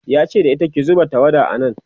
yace da ita "ki zuba tawada a nan!"